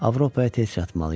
Avropaya tez çatmalıyam.